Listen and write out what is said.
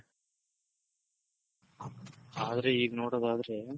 ಆದ್ರೆ ಈಗ್ ನೋಡೋದಾದ್ರೆ